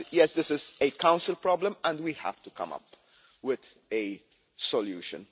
This is a Council problem and we have to come up with a solution.